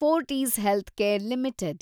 Fortis healthcare limited